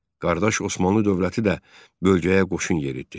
Qardaş Osmanlı dövləti də bölgəyə qoşun yeritdi.